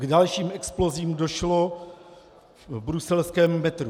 K dalším explozím došlo v bruselském metru.